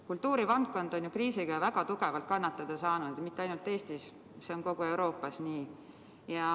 Kultuurivaldkond on kriisis väga tugevalt kannatada saanud, ja mitte ainult Eestis, see on kogu Euroopas nii.